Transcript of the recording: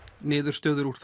niðurstöður úr